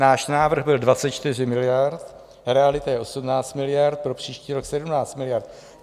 Náš návrh byl 24 miliard, realita je 18 miliard, pro příští rok 17 miliard.